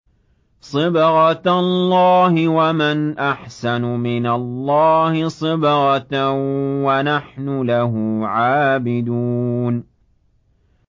صِبْغَةَ اللَّهِ ۖ وَمَنْ أَحْسَنُ مِنَ اللَّهِ صِبْغَةً ۖ وَنَحْنُ لَهُ عَابِدُونَ